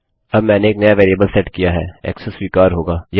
अब मैंने एक नया वेरिएबल सेट किया है ऐक्सेस स्वीकर होगा